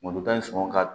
Malotan sɔngɔ ka